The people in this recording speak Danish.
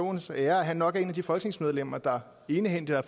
aaens ære at han nok er et af de folketingsmedlemmer der egenhændigt har